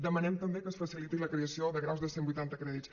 demanem també que es faciliti la creació de graus de cent i vuitanta crèdits